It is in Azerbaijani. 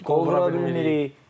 Qovura bilmirik.